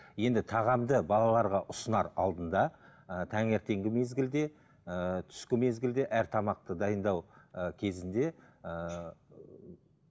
енді тағамды балаларға ұсынар алдында ыыы таңертеңгі мезгілде ыыы түскі мезгілде әр тамақты дайындау ы кезінде ыыы